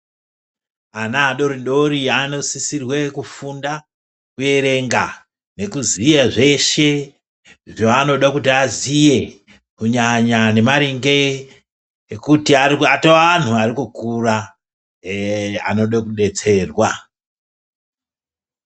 Ana adoridori anosisirwe kufunda kuerenga nekuziye zveshe zvaanode kuti aziye kunyanya nemaringe ekuti atoanhu arikukura anode kudetserwa.